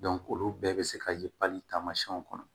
olu bɛɛ bɛ se ka ye tamasiyɛnw kɔnɔ